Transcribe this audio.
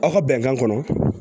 Aw ka bɛnkan kɔnɔ